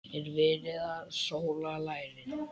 Er verið að sóla lærin?